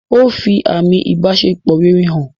Ó fi àmi ìbáṣepọ̀ rere hàn.